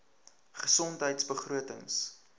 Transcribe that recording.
gesondheidbegrotings